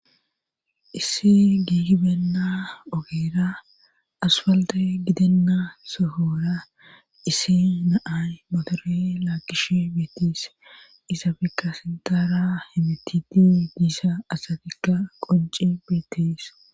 Issi giigi beenna ogeera aspalde gidenna sohora isi naay motore laakish beettees izabekka sintara hemitidi giisa asatikka qonci beettees.